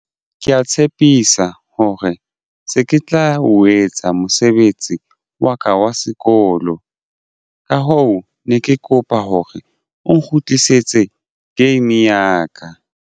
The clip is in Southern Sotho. Ke ya tshepisa hore se ke tla o etsa mosebetsi wa ka wa sekolo. Ka hoo ne ke kopa hore o nkgutlisetse game ya ka.